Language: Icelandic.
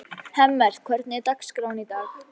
Hemmert, hvernig er dagskráin í dag?